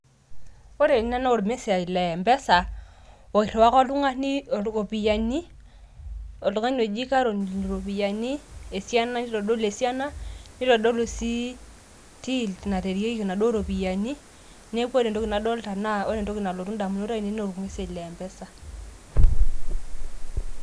ore ena naa or message le mpesa, iriwaka oltungani iropiyiani ,oltungani oji caroline iropiyiani, nitodolu esiana, nitodolu sii till nareyieki inaduoo ropiyiani, neeku ore entoki nadoolta naa ore entoki nalotu idamunot ainei naaa or message le mpesa.